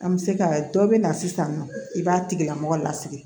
An bɛ se ka dɔ bɛ na sisan nɔ i b'a tigilamɔgɔ lasigi